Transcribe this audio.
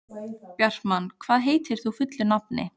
Bjartmann, hvað heitir þú fullu nafni?